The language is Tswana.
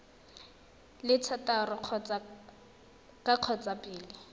le thataro ka kgotsa pele